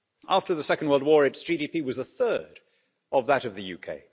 After the Second World War its GDP was a third of that of the UK.